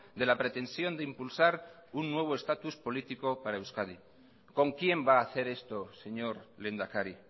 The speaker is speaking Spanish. de la pretensión de impulsar un nuevo status político para euskadi con quién va a hacer esto señor lehendakari